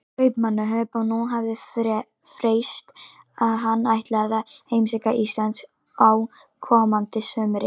Kaupmannahöfn, og nú hafði frést að hann ætlaði að heimsækja Ísland á komandi sumri.